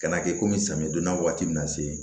Kana kɛ komi samiyɛ donda waati min na se